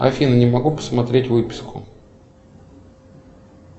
афина не могу посмотреть выписку